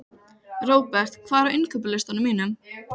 Robert, hvað er á innkaupalistanum mínum?